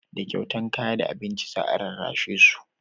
da kyautan kaya da abinci za a rarrashe su